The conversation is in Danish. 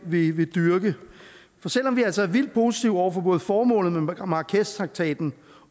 vi vil dyrke for selv om vi altså er vildt positive over for både formålet med marrakeshtraktaten